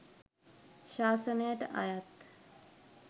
ශාසනයට අයත්